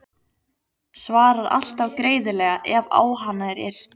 Svarar alltaf greiðlega ef á hana er yrt.